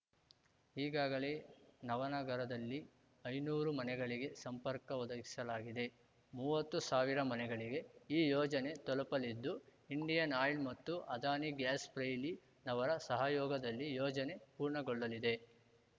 ಈಗಾಗಲೇ ನವನಗರದಲ್ಲಿ ಐನೂರು ಮನೆಗಳಿಗೆ ಸಂಪರ್ಕ ಒದಗಿಸಲಾಗಿದೆ ಮೂವತ್ತು ಸಾವಿರ ಮನೆಗಳಿಗೆ ಈ ಯೋಜನೆ ತಲುಪಲಿದ್ದು ಇಂಡಿಯನ್‌ ಆಯಿಲ್‌ ಮತ್ತು ಅದಾನಿ ಗ್ಯಾಸ್‌ ಪ್ರೈ ಲಿ ನವರ ಸಹಯೋಗದಲ್ಲಿ ಯೋಜನೆ ಪೂರ್ಣಗೊಳ್ಳಲಿದೆ